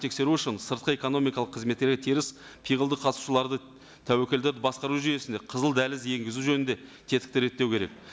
тексеру үшін сыртқы экономикалық қызметтері теріс пиғылды қатысушыларды тәуекелді басқару жүйесінде қызыл дәліз енгізу жөнінде тетікті реттеу керек